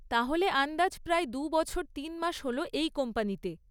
তাহলে আন্দাজ প্রায় দুই বছর তিন মাস হল এই কোম্পানিতে?